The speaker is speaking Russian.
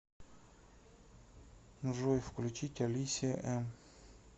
джой включить алисия эм